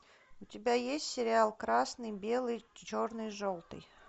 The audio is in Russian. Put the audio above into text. у тебя есть сериал красный белый черный желтый